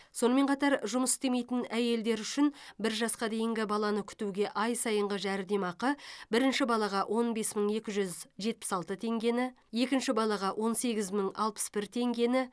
сонымен қатар жұмыс істемейтін әйелдер үшін бір жасқа дейінгі баланы күтуге ай сайынғы жәрдемақы бірінші балаға он бес мың екі жүз жетпіс алты теңгені екінші балаға он сегіз мың алпыс бір теңгені